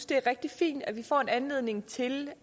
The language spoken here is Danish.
det er rigtig fint at vi får en anledning til